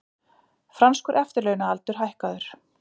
Franskur eftirlaunaaldur hækkaður